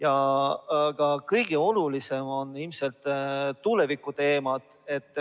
Aga kõige olulisemad on ilmselt tulevikuteemad.